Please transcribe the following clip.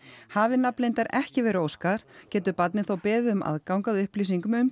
hafi nafnleyndar ekki verið óskað getur barnið þó beðið um aðgang að upplýsingum um